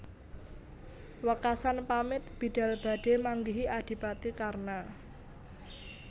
Wekasan pamit bidhal badhe manggihi adipati Karna